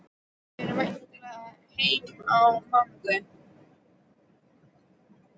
Þau eru væntanleg heim á mánudag.